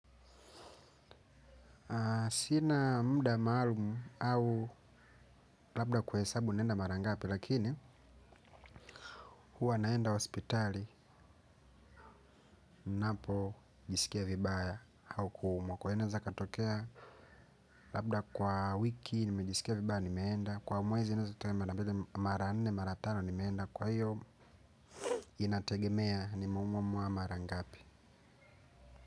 Sina muda maalumu au labda kuhesabu naenda mara ngapi lakini huwa naenda hospitali ninapo jisikia vibaya au kuumwa. Kwa hiyo naeza katokea labda kwa wiki nimejisikia vibaya nimeenda. Kwa mwezi mara nne, mara tano nimeenda. Kwa hiyo inategemea nimeumwa umwa mara ngapi.